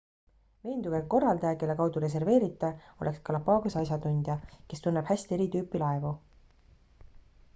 veenduge et korraldaja kelle kaudu reserveerite oleks galapagose asjatundja kes tunneb häst eri tüüpi laevu